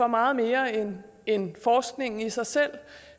meget mere end end forskningen i sig selv